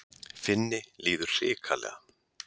Finni líður hrikalega.